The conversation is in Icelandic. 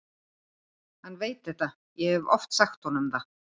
Hann veit þetta, ég hef oft sagt honum það.